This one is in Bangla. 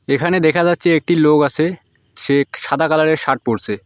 এখানে দেখা যাচ্ছে একটি লোক আসে সে সাদা কালারের শার্ট পরসে ।